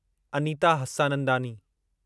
Anita Hassanandani